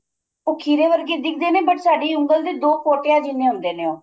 ਉਹ ਖੀਰੇ ਵਰਗੇ ਦਿੱਖਦੇ ਨੇ but ਸਾਡੀ ਉਂਗਲ ਦੇ ਦੋ ਪੋਟਿਆ ਜਿੰਨੇ ਹੁੰਦੇ ਨੇ ਉਹ